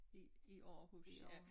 I i Aarhus ja